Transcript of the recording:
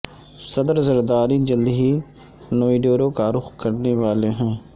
صدر زرداری جلد ہی نوڈیرو کا رخ کرنے والے ہیں